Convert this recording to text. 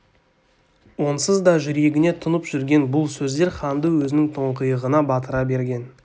онсыз да жүрегіне тұнып жүрген бұл сөздер ханды өзінің тұңғиығына батыра берген